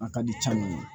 A ka di caman ye